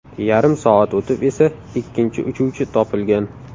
Yarim soat o‘tib esa ikkinchi uchuvchi topilgan.